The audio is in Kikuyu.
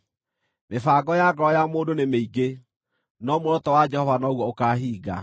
Mĩbango ya ngoro ya mũndũ nĩ mĩingĩ, no muoroto wa Jehova noguo ũkaahinga.